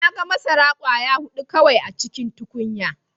Na gan masara kwaya hudu kawai a cikin tukunya.